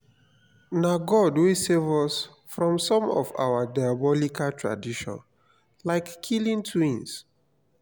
na god wey save us from some of our diabolical tradition like killing twins